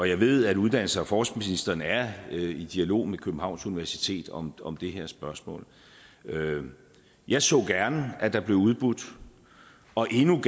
jeg ved at uddannelses og forskningsministeren er i dialog med københavns universitet om om det her spørgsmål jeg så gerne at det blev udbudt og endnu